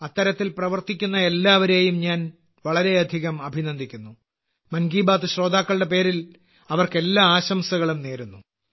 അത്തരത്തിൽ പ്രവർത്തിയക്കുന്ന എല്ലാവരെയും ഞാൻ വളരെയധികം അഭിനന്ദിക്കുന്നു മൻ കി ബാത്ത് ശ്രോതാക്കളുടെ പേരിൽ അവർക്ക് എല്ലാ ആശംസകളും നേരുന്നു